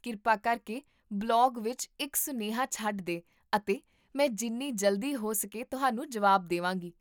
ਕਿਰਪਾ ਕਰਕੇ ਬਲੌਗ ਵਿੱਚ ਇੱਕ ਸੁਨੇਹਾ ਛੱਡ ਦੇ ਅਤੇ ਮੈਂ ਜਿੰਨੀ ਜਲਦੀ ਹੋ ਸਕੇ ਤੁਹਾਨੂੰ ਜਵਾਬ ਦੇਵਾਂਗੀ